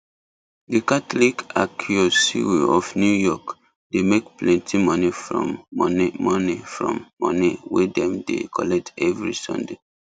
the catholic archiocewe of new york dey make plenty money from money money from money wey dem dey collect every sunday